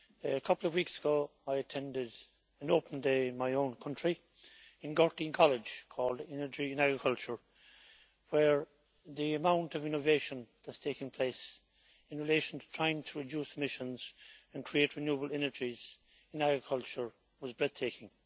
A couple of weeks ago I attended an open day in my own country, in Gurteen College, called Energy in Agriculture', where the amount of innovation that is taking place in relation to trying to reduce emissions and create renewable energies in agriculture was breathtaking.